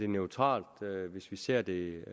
neutralt hvis vi ser det